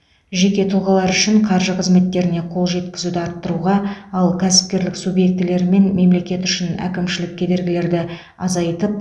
жеке тұлғалар үшін қаржы қызметтеріне қол жеткізуді арттыруға ал кәсіпкерлік субъектілері мен мемлекет үшін әкімшілік кедергілерді азайтып